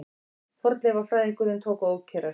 Fornleifafræðingurinn tók að ókyrrast.